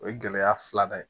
O ye gɛlɛya filanan ye